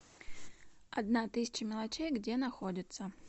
одна тысяча мелочей где находится